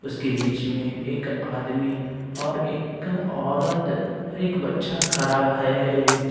उसके बीच में एक आदमी और एक औरत और एक बच्चा खड़ा है।